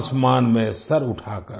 आसमान में सिर उठाकर